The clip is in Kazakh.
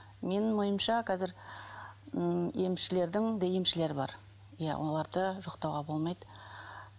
менің ойымша қазір ммм емшілердің де емшілері бар иә оларды жоқтауға болмайды